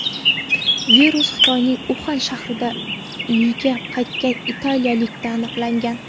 Virus Xitoyning Uxan shahridan uyiga qaytgan italiyalikda aniqlangan .